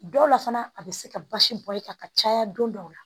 Dɔw la fana a bɛ se ka basi bɔ i kan ka caya don dɔw la